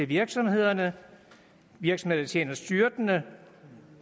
virksomhederne virksomheder der tjener styrtende